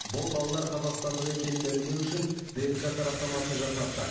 бұл балалар қазақстандық екенін дәлелдеу үшін днқ сараптамасын жасаттық